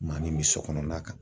Maa min bɛ sokɔnɔna kan.